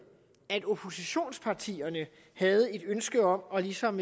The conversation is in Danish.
at oppositionspartierne havde et ønske om ligesom